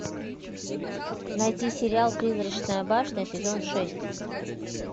найти сериал призрачная башня сезон шесть